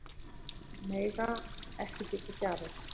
Mega ekki þiggja gjafir